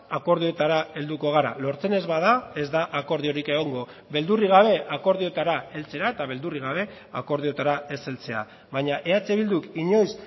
akordioetara helduko gara lortzen ez bada ez da akordiorik egongo beldurrik gabe akordioetara heltzera eta beldurrik gabe akordioetara ez heltzea baina eh bilduk inoiz